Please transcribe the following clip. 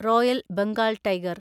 royal Bengal tiger